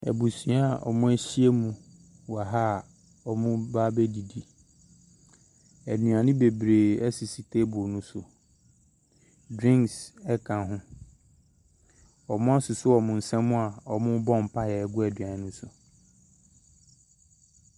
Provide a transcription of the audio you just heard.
Abusua a ɔmo ahyia mu wɔ ha a ɔmoo ba abɛdidi. Ɛnuane bebree ɛsisi teebol no so. Drinks ɛka ho. Ɔmo asosɔ ɔmo nsa mu a ɔmoobɔ mpaeɛ agu aduane no so.